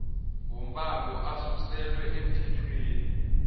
wombango asuselwa emthethweni